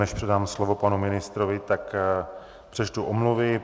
Než předám slovo panu ministrovi, tak přečtu omluvy.